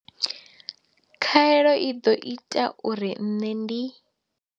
Khaelo i ḓo ita uri nṋe ndi.